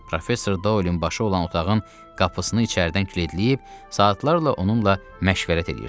Professor Doylin başı olan otağın qapısını içəridən kilidləyib, saatlarla onunla məşvərət eləyirdi.